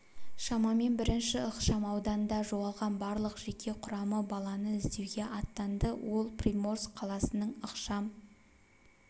шамамен бірінші ықшам ауданда жоғалған барлық жеке құрамы баланы іздеуге аттанды ол приморск қаласының ықшам